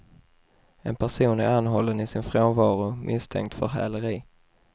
En person är anhållen i sin frånvaro misstänkt för häleri.